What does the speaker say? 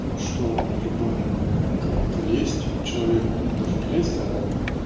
что любая моя какая-то лезть к человеку ну даже не лезть